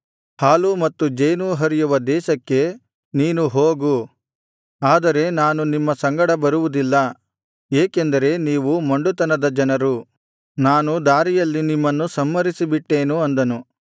ಹಾಲೂ ಮತ್ತು ಜೇನೂ ಹರಿಯುವ ದೇಶಕ್ಕೆ ನೀನು ಹೋಗು ಆದರೆ ನಾನು ನಿಮ್ಮ ಸಂಗಡ ಬರುವುದಿಲ್ಲ ಏಕೆಂದರೆ ನೀವು ಮೊಂಡುತನದ ಜನರು ನಾನು ದಾರಿಯಲ್ಲಿ ನಿಮ್ಮನ್ನು ಸಂಹರಿಸಿಬಿಟ್ಟೇನು ಅಂದನು